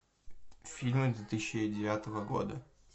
фильмы две тысячи девятого года